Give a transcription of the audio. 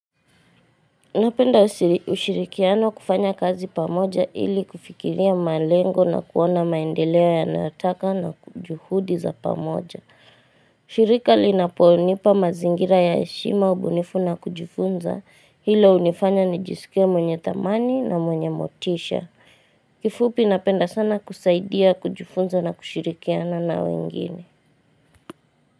Napenda ushirikiano kufanya kazi pamoja ili kufikiria malengo na kuona maendeleo ya nataka na kujuhudi za pamoja. Shirika linaponipa mazingira ya heshima ubunifu na kujifunza. Hilo hunifanya ni jisike mwenye thamani na mwenye motisha. Kifupi napenda sana kusaidia kujfunza na kushirikiano na wengine.